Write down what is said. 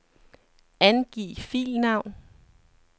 Angiv filnavn.